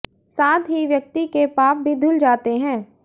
साथ ही व्यक्ति के पाप भी धुल जाते हैं